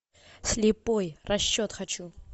слепой расчет хочу